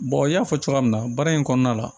n y'a fɔ cogoya min na baara in kɔnɔna la